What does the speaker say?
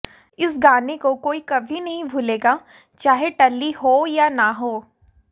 इस गाने को कोई कभी नहीं भूलेगा चाहे टल्ली हो या ना हो